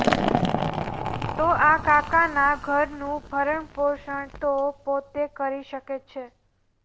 તો આ કાકાના ઘરનું ભરણપોષણ તો પોતે કરી શકે છે